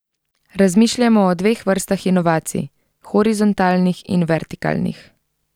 Razmišljamo o dveh vrstah inovacij, horizontalnih in vertikalnih.